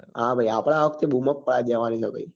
હા ભાઈ આપડે આ વખતે બૂમ જ પડાઈ દેવા ની છે ભાઈ